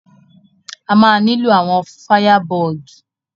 A ma nílò àwọn fáyàbọ̀gì.